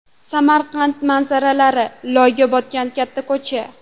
Samarqand manzaralari: Loyga botgan katta ko‘cha.